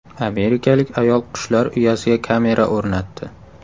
Amerikalik ayol qushlar uyasiga kamera o‘rnatdi.